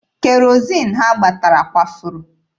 Kerozin ha gbatara kwafuru.